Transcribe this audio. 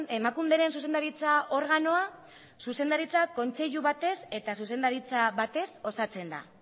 emakunderen zuzendaritza organoa zuzendaritzak kontseilu batez eta zuzendaritza batez osatzen da